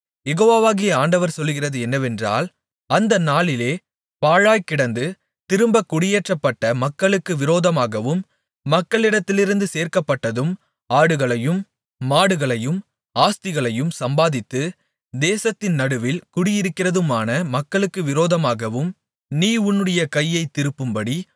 யெகோவாகிய ஆண்டவர் சொல்லுகிறது என்னவென்றால் அந்த நாளிலே பாழாய் கிடந்து திரும்பக் குடியேற்றப்பட்ட மக்களுக்கு விரோதமாகவும் மக்களிடத்திலிருந்து சேர்க்கப்பட்டதும் ஆடுகளையும் மாடுகளையும் ஆஸ்திகளையும் சம்பாதித்து தேசத்தின் நடுவில் குடியிருக்கிறதுமான மக்களுக்கு விரோதமாகவும் நீ உன்னுடைய கையைத் திருப்பும்படி